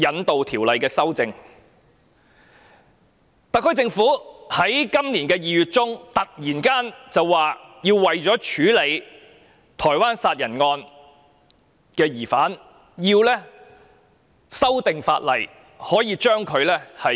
特區政府在今年2月中突然提出，為了處理台灣殺人案，當局必須修訂法例，把疑兇引渡至台灣受審。